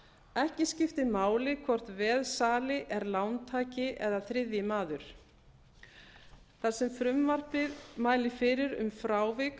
ekki skiptir máli hvort veðsali er lántaki eða þriðji maður þar sem frumvarpið mælir fyrir um frávik